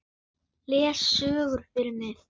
Les sögur fyrir mig.